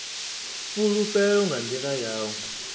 fhulufhelo nga nḓila ya u